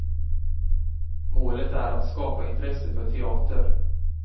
Målet är att skapa intresse för teater.